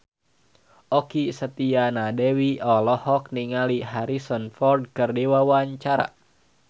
Okky Setiana Dewi olohok ningali Harrison Ford keur diwawancara